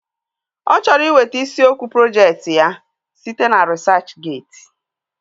Ọ chọrọ iweta isiokwu projekti ya site na risachgeeti